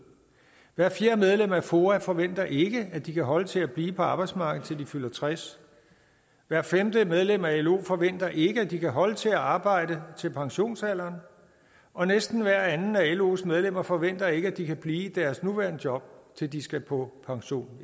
hvert fjerde medlem af foa forventer ikke at de kan holde til at blive på arbejdsmarkedet til de fylder tres år hvert femte medlem af lo forventer ikke at de kan holde til at arbejde til pensionsalderen og næsten hver anden af los medlemmer forventer ikke at de kan blive i deres nuværende job til de skal på pension